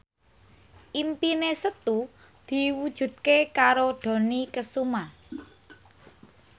impine Setu diwujudke karo Dony Kesuma